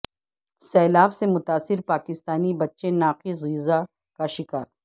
سیلاب سے متاثر پاکستانی بچے ناقص غذا کا شکار